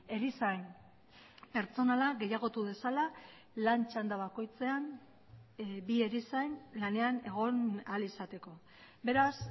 erizain pertsonala gehiagotu dezala lan txanda bakoitzean bi erizain lanean egon ahal izateko beraz